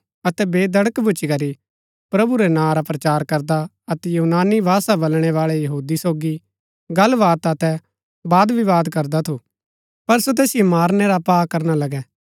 अतै बेधड़क भूच्ची करी प्रभु रै नां रा प्रचार करदा अतै यूनानी भाषा बलणैवाळै यहूदी सोगी गल्ल वात अतै वादविवाद करदा थू पर सो तैसिओ मारनै रा पा करना लगै